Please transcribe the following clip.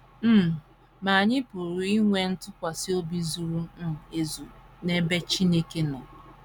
um Ma anyị pụrụ inwe ntụkwasị obi zuru um ezu n’ebe Chineke nọ.